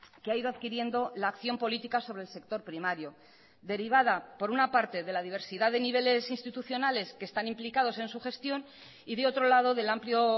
que ha ido adquiriendo la acción política sobre el sector primario derivada por una parte de la diversidad de niveles institucionales que están implicados en su gestión y de otro lado del amplio